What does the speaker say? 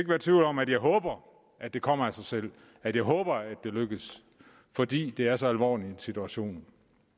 være tvivl om at jeg håber at det kommer af sig selv at jeg håber at det lykkes fordi det er så alvorlig en situation